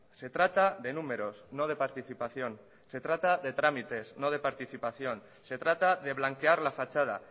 se trata de números no de participación se trata de trámites no de participación se trata de blanquear la fachada